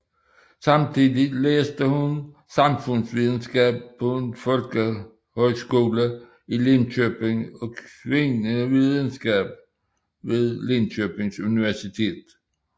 Samtidigt læste hun samfundsvidenskab på en folkehøjskoler i Linköping og kvindevidenskab ved Linköpings Universitet